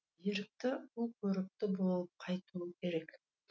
ерікті ұл көрікті болып қайтуы керек